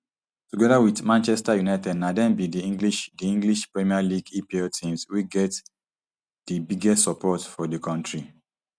togeda wit manchester united na dem be di english di english premier league epl teams wey get di biggest support for di kontri